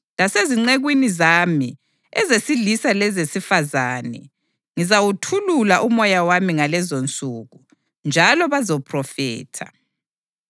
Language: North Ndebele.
Lasezincekwini zami, ezesilisa lezesifazane, ngizawuthulula uMoya wami ngalezonsuku, njalo bazaphrofitha.